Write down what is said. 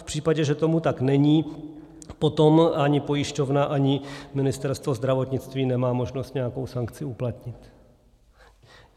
V případě, že tomu tak není, potom ani pojišťovna, ani Ministerstvo zdravotnictví nemá možnost nějakou sankci uplatnit.